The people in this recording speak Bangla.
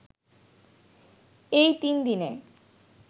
এই তিনদিনে